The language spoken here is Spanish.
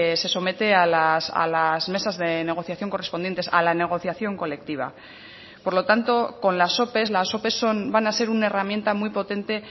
se somete a las mesas de negociación correspondientes a la negociación colectiva por lo tanto con las ope las ope son van a ser una herramienta muy potente